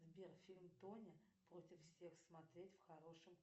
сбер фильм тоня против всех смотреть в хорошем